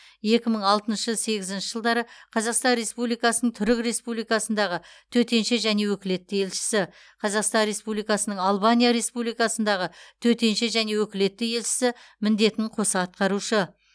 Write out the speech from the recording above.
екі мың алтыншы сегізінші жылдары қазақстан республикасының түрік республикасындағы төтенше және өкілетті елшісі қазақстан республикасының албания республикасындағы төтенше және өкілетті елшісі міндетін қоса атқарушы